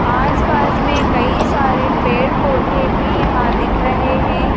आसपास में कई सारे पेड़ पौधे भी यहां दिख रहे हैं।